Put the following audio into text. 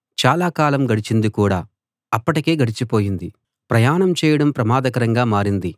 చాలా కాలం గడిచింది చాలా కాలం గడిచింది కూడా అప్పటికి గడిచిపోయింది ప్రయాణం చేయడం ప్రమాదకరంగా మారింది